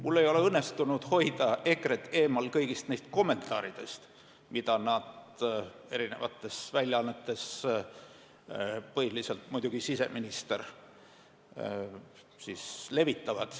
Mul ei ole õnnestunud hoida EKRE-t eemal kõigi nende kommentaaride tegemisest, mida nad eri väljaannetes levitavad, põhiliselt teeb seda muidugi siseminister.